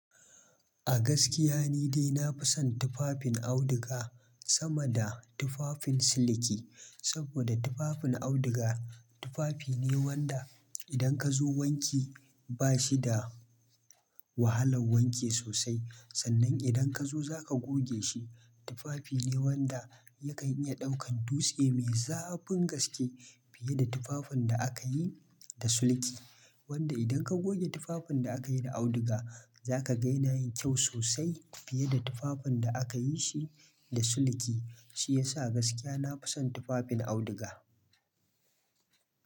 A gaskiya ni dai na fi son tufafin auduga sama da tufafin siliki. Saboda tufafin auduga, tufafi ne wanda idan ka zo wanke ba shi da wahalan wanke sosai. Sannan idan ka zo za ka goge shi. Tufafi ne wanda yakan iya ɗaukan dutse mai zafin gaske fiye da tufafin da aka yi da siliki. Wanda idan ka goge tufafin da aka yi da auduga, za ka gani yayi kyau sosai, fiye da tufafin da aka yi shi da suliki. Shi ya sa gaskiya na fi son tufafin auduga.